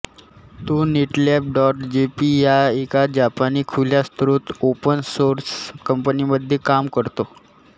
तो Netlab dot JP ह्या एका जापानी खुल्या स्त्रोत ओपन सोर्स कंपनीमध्ये काम करतो